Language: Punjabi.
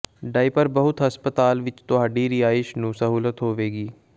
ਡਾਇਪਰ ਬਹੁਤ ਹਸਪਤਾਲ ਵਿਚ ਤੁਹਾਡੀ ਰਿਹਾਇਸ਼ ਨੂੰ ਸਹੂਲਤ ਹੋਵੇਗੀ